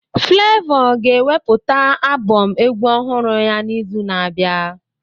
Flevọ ga-ewepụta abọm egwu ọhụrụ ya n'izu na-abịa.